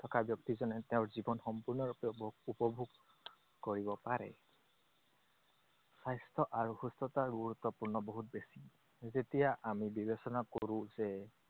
থকা ব্যক্তিজনে তেওঁৰ জীৱন সম্পূৰ্ণৰূপে উপ~ উপভোগ কৰিব পাৰে। স্বাস্থ্য আৰু সুস্থতাৰ গুৰুত্বপূৰ্ণ বহুত বেছি। যেতিয়া আমি বিবেচনা কৰো যে,